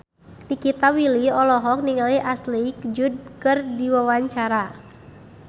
Nikita Willy olohok ningali Ashley Judd keur diwawancara